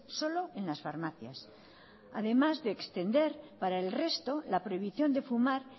solo en las farmacias además de extender para el resto la prohibición de fumar